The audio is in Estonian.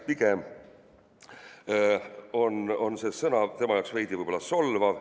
Pigem on see sõna tema jaoks veidi solvav.